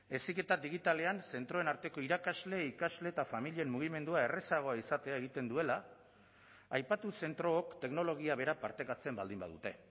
heziketa digitalean zentroen arteko irakasle ikasle eta familien mugimendua errazagoa izatea egiten duela aipatu zentrook teknologia bera partekatzen baldin badute